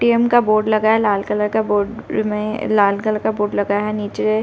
ATM का board लगा है। लाल कलर का बोर्ड में- लाल कलर का बोर्ड है नीचे।